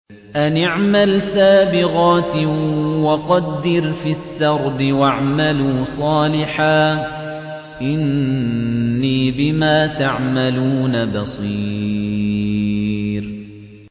أَنِ اعْمَلْ سَابِغَاتٍ وَقَدِّرْ فِي السَّرْدِ ۖ وَاعْمَلُوا صَالِحًا ۖ إِنِّي بِمَا تَعْمَلُونَ بَصِيرٌ